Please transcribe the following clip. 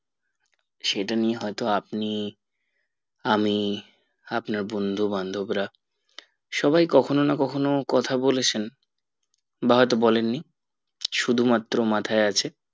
সেটা নিয়ে হয়তো আপনি আমি আপনার বন্ধু বান্ধবরা সবাই কখনো না কখনো কথা বলেছেন বা হয়তো বলেননি শুধু মাত্র মাথায় আছে